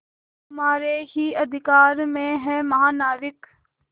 तुम्हारे ही अधिकार में है महानाविक